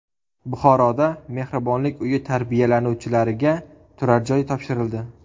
Buxoroda mehribonlik uyi tarbiyalanuvchilariga turarjoy topshirildi.